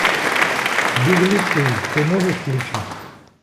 беглецы ты можешь включить